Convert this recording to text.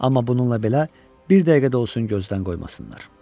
Amma bununla belə bir dəqiqə də olsun gözdən qoymasınlar.